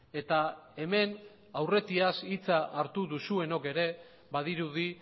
eta hemen aurretiaz hitza hartu duzuenok ere badirudi